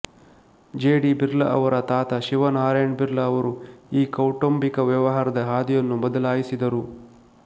G D Birla ಅವರ ತಾತ ಶಿವ ನಾರಾಯಣ ಬಿರ್ಲಾ ಅವರು ಈ ಕೌಟುಂಬಿಕ ವ್ಯವಹಾರದ ಹಾದಿಯನ್ನು ಬದಲಾಯಿಸಿದರು